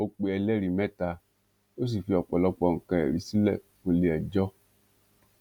ó pe ẹlẹrìí mẹta ó sì fi ọpọlọpọ nǹkan ẹrí sílẹ fúnlẹẹjọ